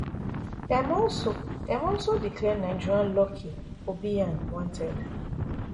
dem also dem also declare nigerian lucky obiyan wanted